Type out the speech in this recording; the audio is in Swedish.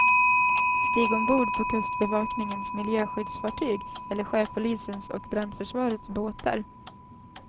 Stig ombord på kustbevakningens miljöskyddsfartyg, eller sjöpolisens och brandförsvarets båtar.